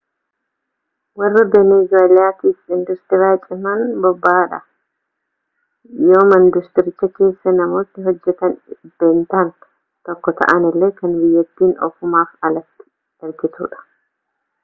warra benezuweellaatiif induustirii cimaan boba'aadha yooma induustiricha keessaa namoonni hojjetan dhibbeentaan tokko ta'anillee kan biyyattiin ofumaaf alatti ergitudha